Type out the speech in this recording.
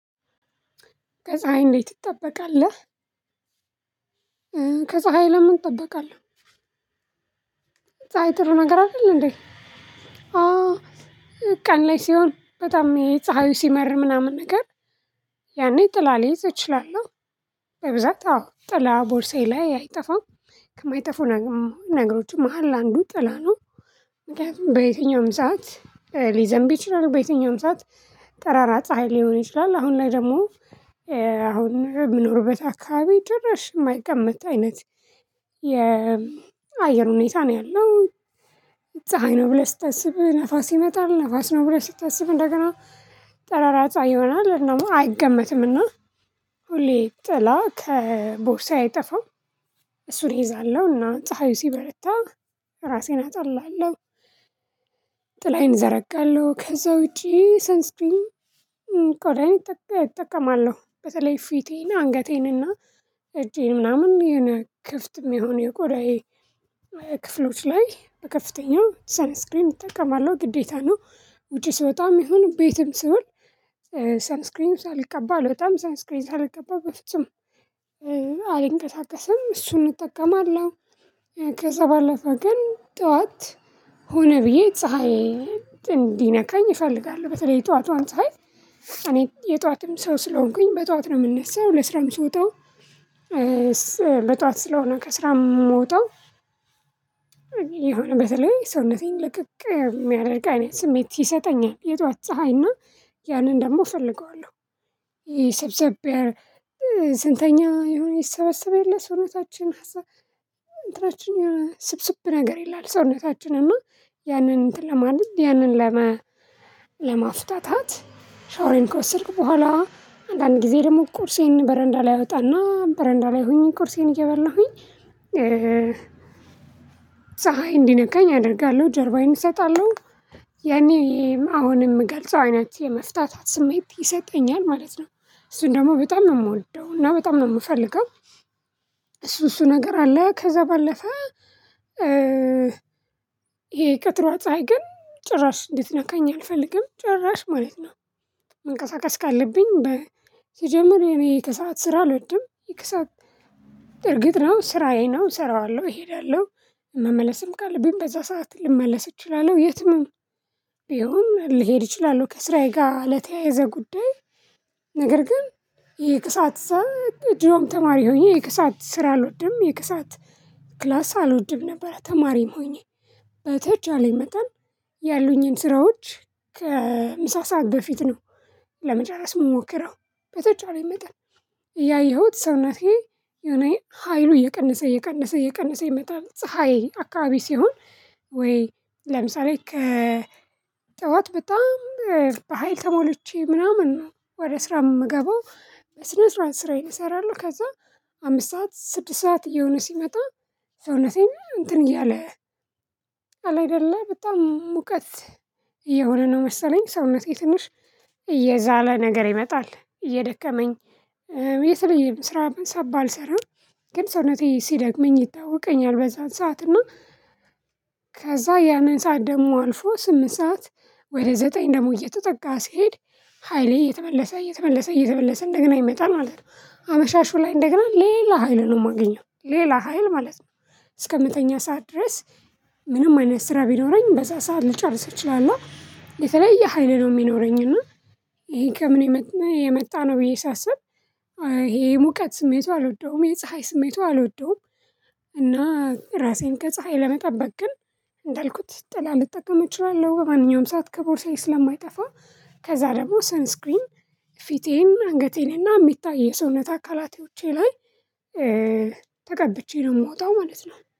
ከፀሀይ እንዴት ትጠበቃለህ? ከፀሀይ ለምን እጠበቃለሁ ፀሀይ ጥሩ ነገር አይደል እንዴ ቀን ላይ ሲሆን በጣም የፀሀዩ ሲመር ምናምን ነገር ያኔ ጥላ ልይዝ እችላለሁ በብዛት አዎ ጥላ ቦርሳዬ ላይ አይጠፋም ከማይጠፉ ነገሮችም መሃል አንዱ ጥላ ነው ምክንያቱም በየትኛውም ሰዓት ሊዘንብ ይችላል በየትኛውም ሰዓት ጠራራ ፀሀይ ሊሆን ይችላል አሁን ላይ ደግሞ አሁን የምኖርበት አካባቢ ጭራሽ የማይቀመጥ አይነት የአየር ሁኔታ ነው ያለው ፀሀይ ነው ብለህ ስታስብ ነፋስ ይመጣል ነፋስ ነው ብለህ ስታስብ እንደገና ጠራራ ፀሀይ ይሆናል ደግሞ አይገመትምና ሁሌ ጥላ ከቦርሳዬ የጠፋው እሱን እይዛለሁና ፀሀዩ ሲበረታ ራሴን አጠላለሁ ጥላዬን እዘረጋለሁ ከዛ ውጪ ሰን ስክሪን ቆዳኝ እጠቀማለሁ በተለይ ፊቴን አንገቴን እና እጄን ምናምን የሆነ ክፍት የሚሆነው የቆዳዬ ክፍሎች ላይ በከፍተኛው ሰን ስክሪንግ እጠቀማለሁ ግዴታ ነው ውጪ ስወጣም ይሁን ቤትም ስውል ሰን ስክሪን ሳልቀባ አልወጣም ሰን ስክሪን ሳልቀባ በፍጹም አልንቀሳቀስም እሱን እጠቀማለሁ ከዛ ባለፈ ግን ጠዋት ሆነ ብዬ ፀሀይ እንዲነካኝ እፈልጋለሁ በተለይ የጠዋቷን ፀሀይ እኔ የጠዋትም ሰው ስለሆንኩኝ በጠዋት ነው የምነሳው ለስራም ስወጣው በጠዋት ስለሆነ ከስራም የምወጣው የሆነ በተለይ ሰውነቴን ልቅቅ የሚያደርግ ስሜት ይሰጠኛል የጠዋ ት ፀሀይ እና ያንን ደግሞ እፈልገዋለሁ ይሄ ሰብሰብ ስንተኛ የሆነ ይሰበሰብ የለ ሰውነታችን እንትናችን የሆነ ስብስብ ነገር ይላል ሰውነታችን እና ያንን እንትን ለማድረግ ያንን ለማፍታታት ሻወሬን ከወሰድኩ በኋላ አንዳንድ ጊዜ ደግሞ ቁርሴን በረንዳ ላይ አወጣና በረንዳ ላይ ሁኚ ቁርሴን እየበላሁኝ ፀሀይ እንዲነቃኝ አደርጋለሁ ጀርባዬን እሰጣለሁ ያኔ አሁን የምገልጸው አይነት የመፍታታት ስሜት ይሰጠኛል ማለት ነው እሱን ደግሞ በጣም ነው የምወደው እና በጣም ነው የምፈልገው እሱ እሱ ነገር አለ ከዛ ባለፈ ይሄ የቀጥሯ ፀሀይ ግን ጭራሽ እንድትነካኝ አልፈልግም ጭራሽ ማለት ነው መንቀሳቀስ ካለብኝ ሲጀመር እኔ የሰዓት ስራ አልወድም የክሰዓት እርግጥ ነው ስራዬ ነው እሰራዋለሁ እሄዳለሁ መመለስም ካለብኝ በዛ ሰዓት ልመለስ እችላለሁ የትም ቢሆን ልሄድ እችላለሁ ከስራዬ ጋር ለተያያዘ ጉዳይ ነገር ግን የከሰአት ፀሀይ ድሮም ተማሪ ሆኜ የከሰአት ስራ አልወድም የከሰአት ክላስ አልወድም ነበር ተማሪም ሆኜ በተቻለኝ መጠን ያሉኝን ስራዎች ከምሳ ሰዓት በፊት ነው ለመጨረስ የምሞክረው በተጫዋቾች ይመጣል እያየሁት ሰውናቴ የሆነ ሀይሉ እየቀነሰ እየቀነሰ እየቀነሰ ይመጣል ፀሀይ አካባቢ ሲሆን ወይ ለምሳሌ ከጠዋት በጣም በሃይል ተሞልቼ ምናምን ወደ ስራ የምገባው በስነ ስርዓት ስራዬን እሰራለሁ ከዛ አምስት ሰዓት ስድስት ሰዓት እየሆነ ሲመጣ ሰውነቴን እንትን እያለ አለ አይደለ በጣም ሙቀት እየሆነ ነው መሰለኝ ሰውነቴ ትንሽ እየዛለ ነገር ይመጣል እየደከመኝ የተለየ ስራ ባልሰራም ግን ሰውነቴ ሲደክመኝ ይታወቀኛል በዛን ሰዓት እና ከዛ ያንን ሰዓት ደግሞ አልፎ ስምንት ሰዓት ወደ ዘጠኝ ደግሞ እየተጠጋ ሲሄድ ሃይሌ እየተመለሰ እየተመለሰ እየተመለሰ እንደገና ይመጣል ማለት ነው አመሻሹ ላይ እንደገና ሌላ ሀይል ነው የማገኘው ሌላ ሀይል ማለት ነው እስከ የምተኛ ሰዓት ድረስ ምንም አይነት ስራ ቢኖረኝ በዛ ሰዓት ልጨርስ እችላለሁ የተለየ ሀይል ነው የሚኖረኝ እና ይሄ ከምን የመጣ ነው ብዬ ሳስብ ይሄ የሙቀት ስሜቱ አልወደውም የፀሀይ ስሜቱ አልወደውም እና ራሴን ከፀሀይ ለመጠበቅ ግን እንዳልኩት ጥላ ልጠቀም እችላለሁ በማንኛውም ሰዓት ከቦርሳዬ ስለማይጠፋ ከዛ ደግሞ ሰን ስክሪን ፊቴን አንገቴን እና የሚታይ የሰውነት አካላቴዎቼ ላይ ተቀብቼ ነው የምወጣው ማለት ነው